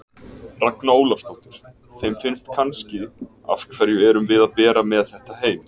Ragna Ólafsdóttir: Þeim finnst kannski, af hverju erum við að bera með þetta heim?